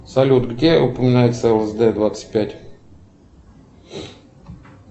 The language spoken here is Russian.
салют где упоминается лсд двадцать пять